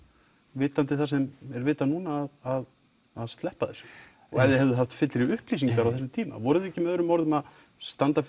vitandi það sem er vitað núna að sleppa þessu og ef þið hefðuð haft fyllri upplýsingar á þessum tíma voruð þið ekki með öðrum orðum að standa